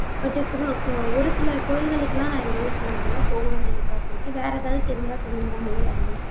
but ஒரு சில கோயில்களுக்கெல்லாம் நான் இது வரைக்கும் போனதில்லை போகணும்ன்னு எனக்கு ஆசை இருக்கு வேற ஏதாவது தெரிஞ்சா சொல்லுங்க மொழியாழினி